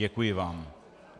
Děkuji vám.